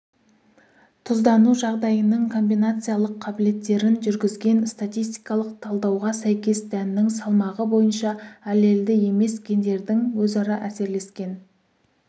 тұздану жағдайының комбинациялық қабілеттерін жүргізген статистикалық талдауға сәйкес дәннің салмағы бойынша аллельді емес гендердің өзара әсерлескен